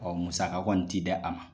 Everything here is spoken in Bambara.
Ɔ musaka kɔni tɛ di a ma.